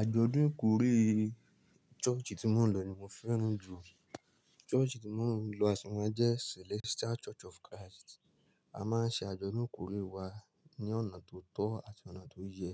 Àjọ̀dún ikórè church tí mo lọ ní mo fẹ́ràn jù. Church tí mo lọ à si máa jẹ́ Celestial Church of Christ. A máa ń ṣe àjọ̀dún kórè wa ní ọ̀nà tó tọ́ àti ọ̀nà tó yẹ.